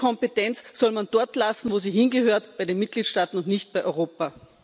Und diese Kompetenz soll man dort lassen, wo sie hingehört bei den Mitgliedstaaten, und nicht bei Europa.